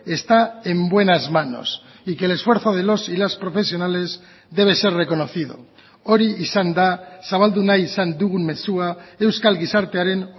está en buenas manos y que el esfuerzo de los y las profesionales debe ser reconocido hori izan da zabaldu nahi izan dugun mezua euskal gizartearen